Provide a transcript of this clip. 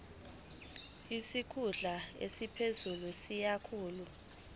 isikhulu esiphezulu siyisikhulu